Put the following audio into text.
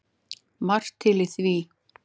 Margt til í því.